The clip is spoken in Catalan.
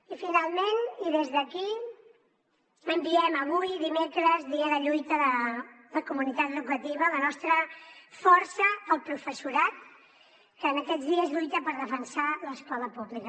i finalment i des d’aquí enviem avui dimecres dia de lluita de la comunitat educativa la nostra força al professorat que aquests dies lluita per defensar l’escola pública